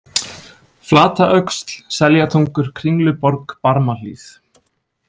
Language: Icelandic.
Flataöxl, Seljatungur, Kringluborg, Barmahlíð